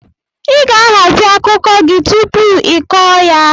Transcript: Ị ga-ahazi akụkọ gị tupu ị kọọ ya!